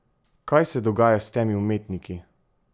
Kaj se dogaja s temi umetniki?